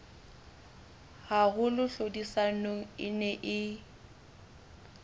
haholo tlhodisanong e neng e